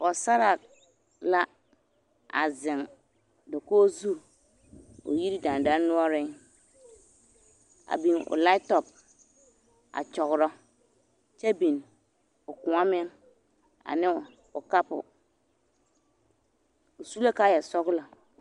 Pɔgesaraa la a zeŋ dakogi zu o yiri dandɔnoɔreŋ a biŋ o latɔp a kyɔgerɔ kyɛ biŋ o kõɔ meŋ ane o kapo, o su la kaaya sɔgelɔ.